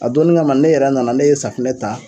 A donni kama ne yɛrɛ nana ne ye safunɛ ta